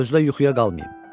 Gözlə yuxuya qalmayım.